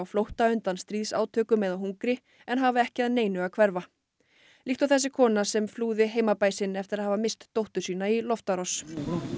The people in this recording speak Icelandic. flótta undan stríðsátökum eða hungri en hafa ekki að neinu að hverfa líkt og þessi kona sem flúði heimabæ sinn eftir að hafa misst dóttur sína í loftárás